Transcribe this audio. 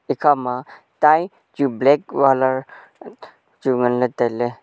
ekha ma tie chu black walar chu ngan ley tailey.